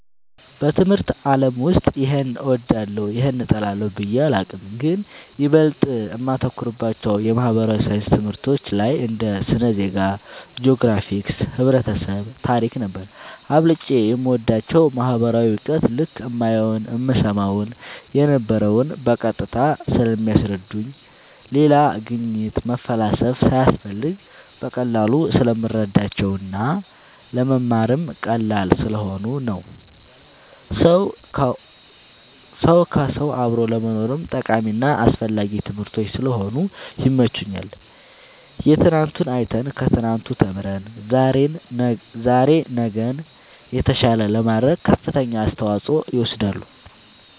በትምህርት አለም ውስጥ ይሄን እወዳለሁ ይህን እጠላለሁ ብየ አላቅም ግን ይበልጥ እማተኩርባቸው የማህበራዊ ሣይንስ ትምህርቶች ላይ እንደ ስነ ዜጋ ,ጅኦግራፊክስ ,ህብረተሰብ ,ታሪክ ነበር አብልጨም የምወዳቸው ማህበራዊ እውቀት ልክ እማየውን እምሰማውን የነበረው በቀጥታ ስለሚያስረዱኝ ሌላ ግኝት መፈላሰፍ ሳያስፈልግ በቀላሉ ስለምረዳቸው እና ለመማርም ቀላል ስለሆኑ ነው ሰው ከውሰው አብሮ ለመኖርም ጠቃሚና አስፈላጊ ትምህርቶች ስለሆኑ ይመቸኛል የትናንቱን አይተን ከትናንቱ ተምረን ዛሬ ነገን የተሻለ ለማድረግ ከፍተኛውን አስተዋፅኦ ይወስዳሉ